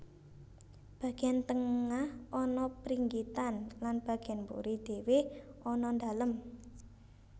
Bagian tengah ana pringgitan lan bagian mburi dhéwé ana dalem